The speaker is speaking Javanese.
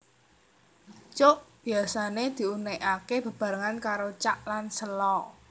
Cuk biasané diunèkaké bebarengan karo cak lan sèlo